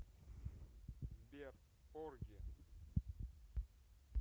сбер порги